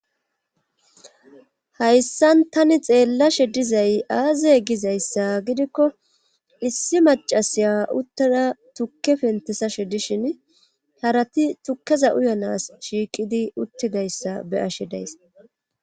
hayssan tani xeellashe dizay aazey gizayssa gidikko issi macasiya uttada tukke pentesashe dishin harati tukkeza uyanas shiiqidi uttidayssa be ashe days